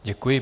Děkuji.